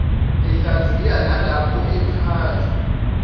ehlaziya nalapho echaza